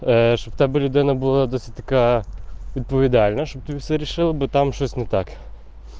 чтобы видно было досветка повидали наши совершил бы там что то не так